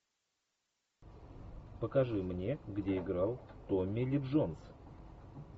покажи мне где играл томми ли джонс